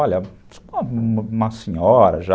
Olha, uma senhora já...